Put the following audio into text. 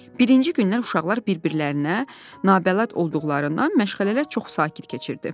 Birinci gündən uşaqlar bir-birlərinə nabələd olduqlarından məşğələlər çox sakit keçirdi.